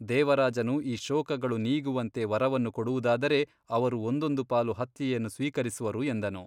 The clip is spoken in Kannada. ದೇವರಾಜನು ಈ ಶೋಕಗಳು ನೀಗುವಂತೆ ವರವನ್ನು ಕೊಡುವುದಾದರೆ ಅವರು ಒಂದೊಂದು ಪಾಲು ಹತ್ಯೆಯನ್ನು ಸ್ವೀಕರಿಸುವರು ಎಂದನು.